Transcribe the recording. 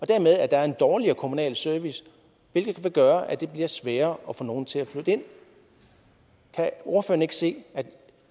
dermed er en dårligere kommunal service hvilket vil gøre at det bliver sværere at få nogen til at flytte ind kan ordføreren ikke se at